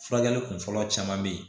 Furakɛli kunfɔlɔ caman be ye